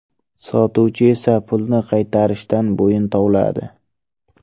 Sotuvchi esa pulni qaytarishdan bo‘yin tovladi.